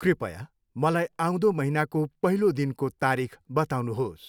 कृपया मलाई आउँँदो महिनाको पहिलो दिनको तारिख बताउनुहोस्।